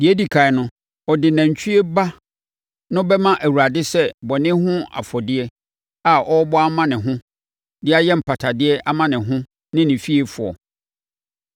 “Deɛ ɛdi ɛkan no, ɔde nantwie ba no bɛma Awurade sɛ bɔne ho afɔdeɛ a ɔrebɔ ama ne ho de ayɛ mpatadeɛ ama ne ho ne ne fiefoɔ.